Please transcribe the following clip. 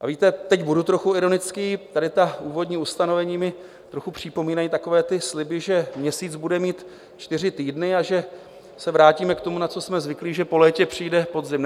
A víte, teď budu trochu ironický, tady ta úvodní ustanovení mi trochu připomínají takové ty sliby, že měsíc bude mít čtyři týdny a že se vrátíme k tomu, na co jsme zvyklí, že po létě přijde podzim.